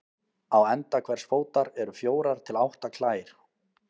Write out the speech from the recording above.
Á enda hvers fótar eru fjórar til átta klær.